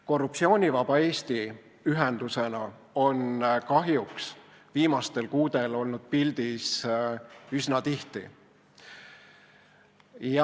Korruptsioonivaba Eesti ühendusena on kahjuks olnud viimastel kuudel pildis üsna tihti.